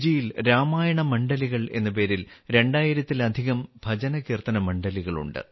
ഇന്നും ഫിജിയിൽ രാമായണ മണ്ഡലികൾ എന്ന പേരിൽ രണ്ടായിരത്തിലധികം ഭജനകീർത്തന മണ്ഡലികളുണ്ട്